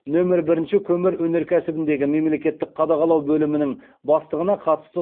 нөмір бірінші көмір өнеркәсібіндегі мемлекеттік қадағалау бөлімінің бастығына қатысты